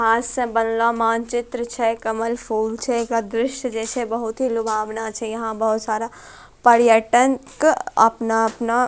हाथ से बनलो मानचित्र छै कमल फूल छै एकरा दृश्य जैसे बहुत ही लुभावना छे यहां बहुत सारा पर्यटन क अपना-अपना --